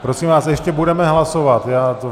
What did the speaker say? Prosím vás, ještě budeme hlasovat.